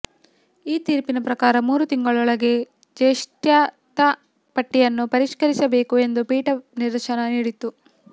ಈ ತೀರ್ಪಿನ ಪ್ರಕಾರ ಮೂರು ತಿಂಗಳೊಳಗೆ ಜ್ಯೇಷ್ಠತಾ ಪಟ್ಟಿಯನ್ನು ಪರಿಷ್ಕರಿಸಬೇಕು ಎಂದು ಪೀಠ ನಿರ್ದೇಶನ ನೀಡಿತ್ತು